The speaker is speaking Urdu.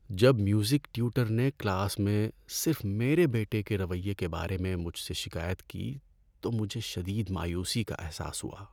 جب میوزک ٹیوٹر نے کلاس میں صرف میرے بیٹے کے رویے کے بارے میں مجھ سے شکایت کی تو مجھے شدید مایوسی کا احساس ہوا۔